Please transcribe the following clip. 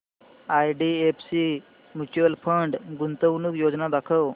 IDFC mutual fund गुंतवणूक योजना दाखव